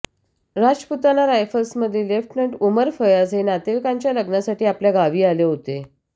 राजपुताना रायफल्समधील लेफ्टनंट उमर फयाज हे नातेवाईकाच्या लग्नासाठी आपल्या गावी आले होते